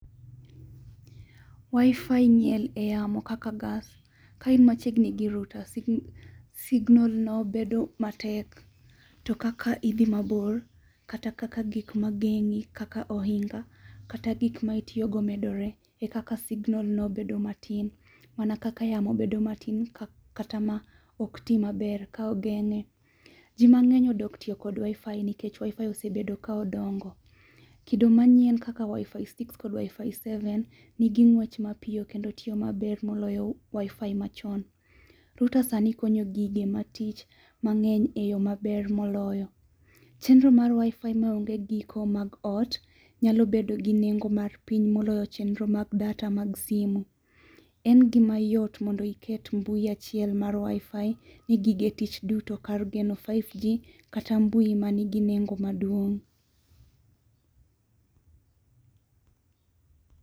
Wifi nie yamo kaka gas, kaka in machiegni gi routers, signal no bedo matek to kaka idhi mabor kata kaka gik magengi kaka ohinga kata gik ma itiyo go medore ekaka signal no bedo matin mana kaka yamo bedo matin kata ma ok tii maber ka ogeng'e. Jii mangeny odok tiyo kod wifi nikech wifi osebedo ka dongo. Kido manyien kakawifi six kod wifi seven nigi ngwech mapiyo kendo tiyo maber moloyo wifi machon. Router sani konyo gigi ma tich mang'eny e yoo maber moloyo. Chenro mar wifi maonge giko mag ot nyalo bedo gi nengo mar piny moloyo chenro mag data mag simu. En gima yot mondo iket mbui achiel mar wifi ne gige tich duto kar geno 5G kata mbui manigi nengo maduong'